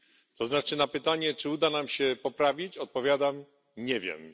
To znaczy na pytanie, czy uda nam się poprawić, odpowiadam nie wiem.